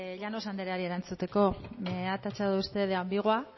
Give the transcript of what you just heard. llanos andreari erantzuteko me ha tachado usted de ambigua